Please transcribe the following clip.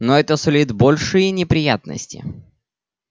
но это сулит большие неприятности